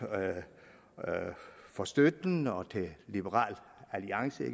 for støtten og til liberal alliance og